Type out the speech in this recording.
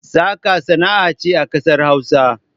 Saƙa sana'a ce a ƙasar hausa